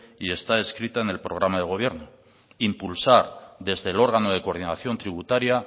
y está escrita en el programa del gobierno impulsar desde el órgano de coordinación tributaria